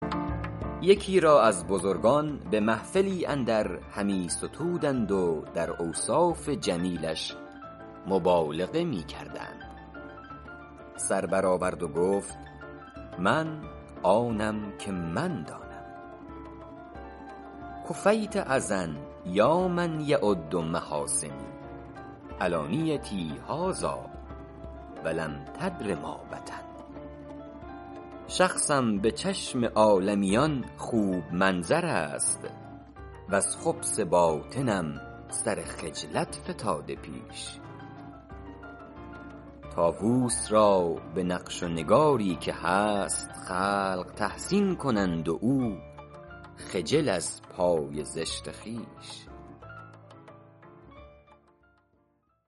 یکی را از بزرگان به محفلی اندر همی ستودند و در اوصاف جمیلش مبالغه می کردند سر بر آورد و گفت من آنم که من دانم کفیت اذی یا من یعد محاسنی علانیتی هذٰاٰ ولم تدر ما بطن شخصم به چشم عالمیان خوب منظر است وز خبث باطنم سر خجلت فتاده پیش طاووس را به نقش و نگاری که هست خلق تحسین کنند و او خجل از پای زشت خویش